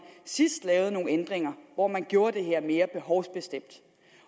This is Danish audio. sidst lavede nogle ændringer hvor man gjorde det her mere behovsbestemt